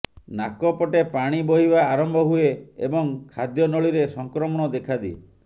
ନାକପଟେ ପାଣି ବହିବା ଆରମ୍ଭ ହୁଏ ଏବଂ ଖାଦ୍ୟନଳୀରେ ସଂକ୍ରମଣ ଦେଖାଦିଏ